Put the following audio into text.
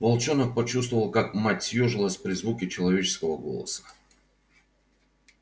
волчонок почувствовал как мать съёжилась при звуке человеческого голоса